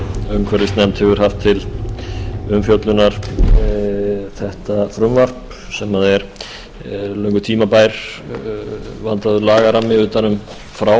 umhverfisnefnd hefur haft til umfjöllunar þetta frumvarp sem er löngu tímabær vandaður lagarammi utan um